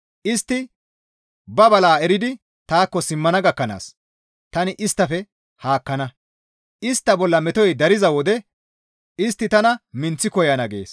Istti ba bala eridi taakko simmana gakkanaas tani isttafe haakkana. Istta bolla metoy dariza wode istti tana minththi koyana» gees.